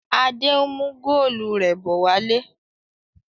Adé ń mú góólù rẹ̀ bọ̀ wálé.